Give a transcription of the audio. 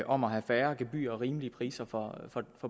om at have færre gebyrer og få rimelige priser for